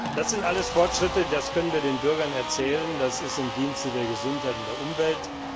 Das sind alles Fortschritte, das können wir den Bürgern erzählen, das ist im Dienste der Gesundheit und der Umwelt.